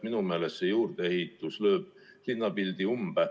Minu meelest lööb see juurdeehitus linnapildi umbe.